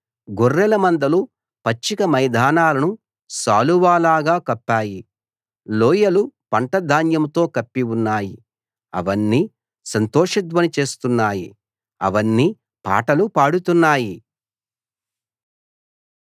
గొర్రెల మందలు పచ్చిక మైదానాలను శాలువాలాగా కప్పాయి లోయలు పంట ధాన్యంతో కప్పి ఉన్నాయి అవన్నీ సంతోషధ్వని చేస్తున్నాయి అవన్నీ పాటలు పాడుతున్నాయి